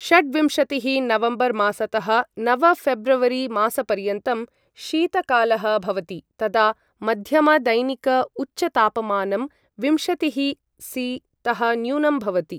षड्विंशतिः नवम्बर् मासतः नव फेब्रवरी मासपर्यन्तं शीतकालः भवति, तदा मध्यम दैनिक उच्चतापमानं विंशतिःसि तः न्यूनं भवति।